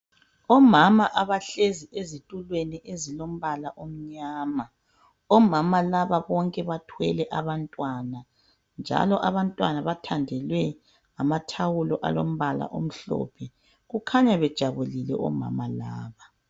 Omama abahlezi ezitulweni ezilombala omnyama. Omama laba bonke bathwele abantwana njalo abantwana bathandelwe amathawulo alombala omhlophe kukhanya bejabulile omama laba.